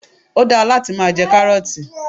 Ó da láti máa jẹ 'Káárótì '